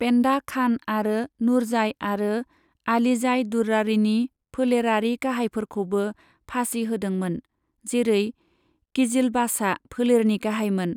पेन्डा खान आरो नूरजाई आरो आलीजाई दुर्रानीनि फोलेरारि गाहायफोरखौबो फासि होदोंमोन, जेरै किजिलबाशआ फोलेरनि गाहायमोन।